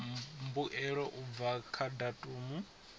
mbuelo u bva kha datumu